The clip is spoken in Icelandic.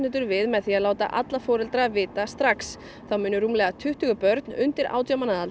við með því að láta alla foreldra vita þá munu rúmlega tuttugu börn undir átján mánaða